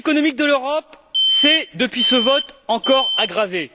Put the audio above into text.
La santé économique de l'Europe s'est, depuis ce vote, encore aggravée.